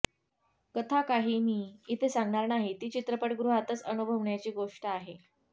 कथा काही मी इथे सांगणार नाही ती चित्रपटगृहातच अनुभवण्याची गोष्ट आहे